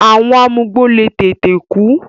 àwọn amugbó le tètè kú.